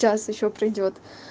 час ещё пройдёт